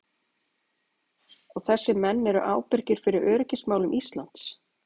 Og þessir menn eru ábyrgir fyrir öryggismálum Íslands!